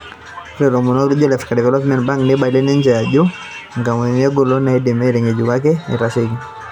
Ore laomonok lijo Africa Development Bank neibalie niche ajo inkampunini engolon naidimi aitangéjuko ake eitasheiki.